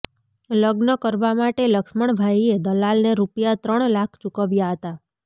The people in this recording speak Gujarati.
લગ્ન કરવા માટે લક્ષ્મણભાઇએ દલાલને રૂપિયાત્રણ લાખ ચૂકવ્યા હતા